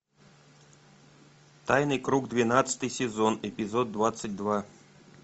тайный круг двенадцатый сезон эпизод двадцать два